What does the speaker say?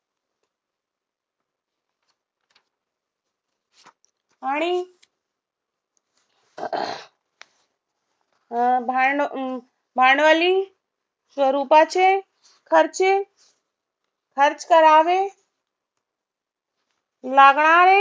आणि अं भांडवली स्वरूपाचे खर्चे खर्च करावे लागणारे